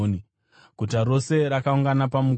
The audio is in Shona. Guta rose rakaungana pamukova,